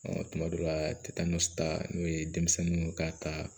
tuma dɔw la ta n'o ye denmisɛnninw ka ta